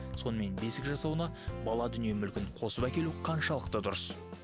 сонымен бесік жасауына бала дүние мүлкін қосып әкелу қаншалықты дұрыс